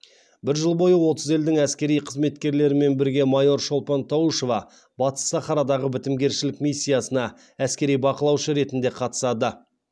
бір жыл бойы отыз елдің әскери қызметкерлерімен бірге майор шолпан таушева батыс сахарадағы бітімгершілік миссиясына әскери бақылаушы ретінде қатысады